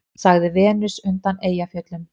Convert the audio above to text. sagði Venus undan Eyjafjöllum.